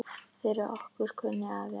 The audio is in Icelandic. Fyrir okkur kunni afi allt.